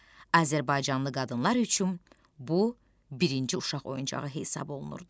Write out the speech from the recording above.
Azərbaycanlı qadınlar üçün bu birinci uşaq oyuncağı hesab olunurdu.